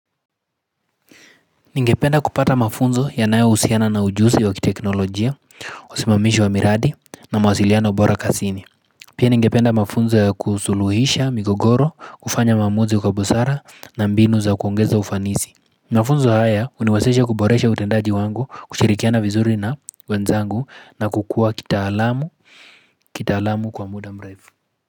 Ningependa kupata mafunzo ya nayohusiana na ujusi wa kiteknolojia, usimamishi wa miradi na mawasiliana bora kasini. Pia ningependa mafunzo ya kusuluhisha, migogoro, kufanya maamuzi kwa busara na mbinu za kuongeza ufanisi. Mafunzo haya huniwezesha kuboresha utendaji wangu, kushirikiana vizuri na wenzangu na kukua kitaalamu kwa muda mrefu.